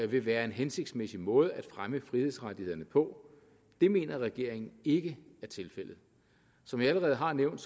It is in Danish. vil være en hensigtsmæssig måde at fremme frihedsrettighederne på det mener regeringen ikke er tilfældet som jeg allerede har nævnt